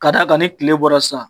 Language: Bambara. K'a d'a kan ni tile bɔra sisan